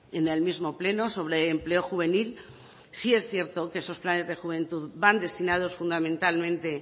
en el mismo pleno sobre empleo juvenil sí es cierto que esos planes de juventud van destinados fundamentalmente